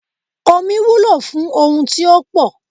Omí wúlò fún ohun tí ó pò